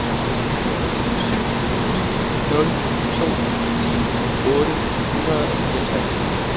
syv ni nul to ti otte hundrede og fireogtres